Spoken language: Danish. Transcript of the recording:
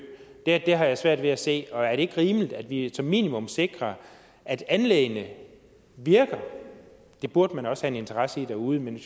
har jeg svært ved at se og er det ikke rimeligt at vi som minimum sikrer at anlæggene virker det burde man også have en interesse i derude men vi